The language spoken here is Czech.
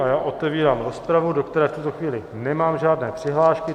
A já otevírám rozpravu, do které v tuto chvíli nemám žádné přihlášky.